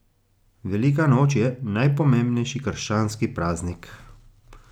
Velika noč je najpomembnejši krščanski praznik.